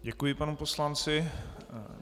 Děkuji panu poslanci.